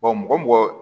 mɔgɔ o mɔgɔ